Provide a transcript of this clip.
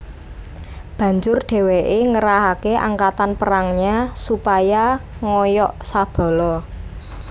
Banjur dheweke ngerahake angkatan perangnya supaya ngoyok Sabala